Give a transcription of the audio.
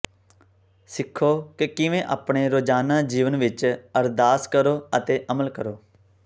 ਸਿੱਖੋ ਕਿ ਕਿਵੇਂ ਆਪਣੇ ਰੋਜ਼ਾਨਾ ਜੀਵਨ ਵਿਚ ਅਰਦਾਸ ਕਰੋ ਅਤੇ ਅਮਲ ਕਰੋ